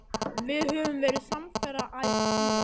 Við höfum verið samferða æ síðan.